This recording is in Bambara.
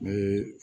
Ne